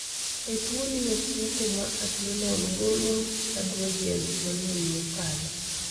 E tuo ni ofuke ma adrenal golo androgens mang'eny mokalo